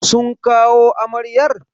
Sun kawo amaryar?